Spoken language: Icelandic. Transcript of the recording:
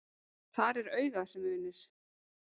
Þar er augað sem unir.